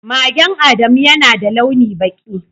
Magen Adamu yana da launi baki.